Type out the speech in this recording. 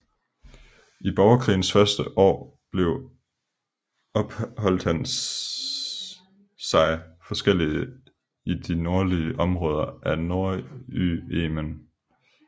I borgerkrigens første år opholdt han sig forskellige i de nordlige områder af Nordyemen